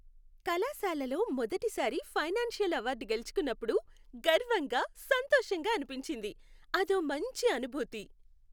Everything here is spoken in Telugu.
కళాశాలలో మొదటి సారి ఫైనాన్సియల్ అవార్డు గెలుచుకున్నపుడు గర్వంగా, సంతోషంగా అనిపించింది, అదో మంచి అనుభూతి.